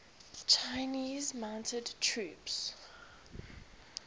chinese mounted troops